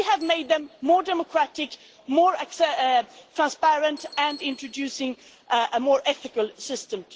We have made them more democratic, more transparent and introduced a more ethical system.